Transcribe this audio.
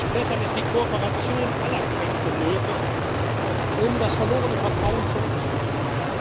Deshalb ist die Kooperation aller Kräfte nötig, um das verlorene Vertrauen zurückzugewinnen.